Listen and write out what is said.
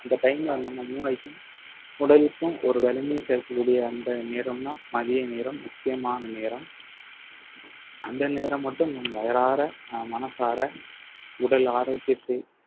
அந்த time ல நம்ம மூளைக்கும் உடலுக்கும் ஒரு வலிமையும் சேர்க்கக்கூடிய அந்த நேரம்தான் மதிய நேரம் முக்கியமான நேரம் அந்த நேரம் மட்டும் நீங்க வயிறார அஹ் மனசார உடல் ஆரோக்கியத்தை